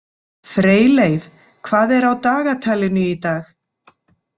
Freyleif, hvað er á dagatalinu í dag?